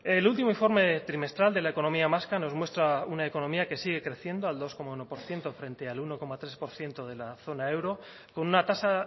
el último informe trimestral de la economía vasca nos muestra una economía que sigue creciendo al dos coma uno por ciento frente al uno coma tres por ciento de la zona euro con una tasa